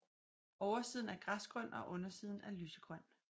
Oversiden er græsgrøn og undersiden er lysegrøn